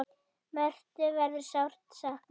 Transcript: Mörthu verður sárt saknað.